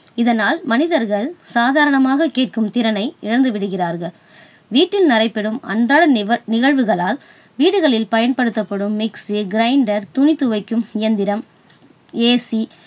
இதனால் மனிதர்கள் சாதாரணமாக கேட்கும் திறனை இழந்து விடுகிறார்கள். வீட்டில் நடைபெறும் அன்றாட நிகழ்~நிகழ்வுகளால் வீடுகளில் பயன்படுத்தப்படும் mixiegrinder துணி துவைக்கும் இயந்திரம் AC